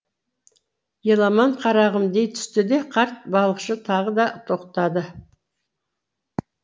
еламан қарағым дей түсті де қарт балықшы тағы да тоқтады